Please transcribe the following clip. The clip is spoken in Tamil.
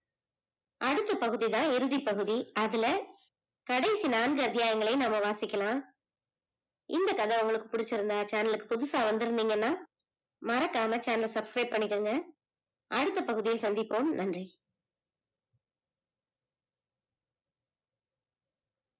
அடுத்த பகுதி தான் இறுதி பகுதி அதுல கடைசி நான்கு அத்தியாயங்களையும் நாம வாசிக்கலாம் இந்த கதை உங்களுக்கு பிடிச்சிருந்ததுனா channel க்கு புதுசா வந்திருந்தைங்கனா மறக்காம channel subscribe பன்னிக்கோங்க அடுத்த பகுதியை சந்திப்போம் நன்றி.